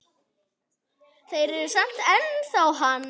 Þeir eru samt ennþá hann.